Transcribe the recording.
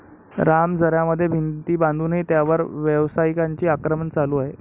राम झऱ्यामध्ये भिंती बांधूनही त्यावर व्यावसायिकांचे आक्रमण चालू आहे.